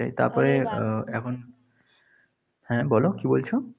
ওটাই, তারপরে উহ এখন হ্যাঁ, বলো কি বলছ?